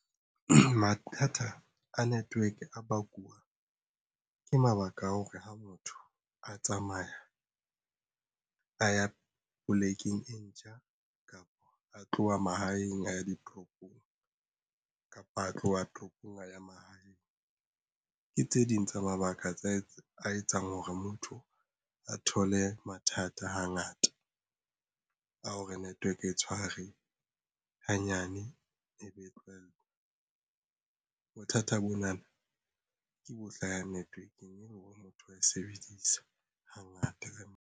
Mathata a network a bakuwa ke mabaka a hore ha motho a tsamaya a ya polekeng e ntjha kapa a tloha mahaeng a ya ditoropong kapa a tloha toropong a ya mahaeng ke tse ding tsa mabaka a etsang hore motho a thole mathata hangata a ho re network e tshware hanyane e be tlohella. Bothata bona na ke bohle ya network-eng e le hore motho wa e sebedisa hangata.